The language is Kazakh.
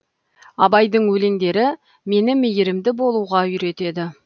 абайдың өлеңдері мені мейірімді болуға үйретеді